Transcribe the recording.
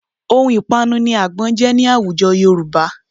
Ohun ìpanu ni àgbọn jẹ́ ní àwùjọ Yorùbá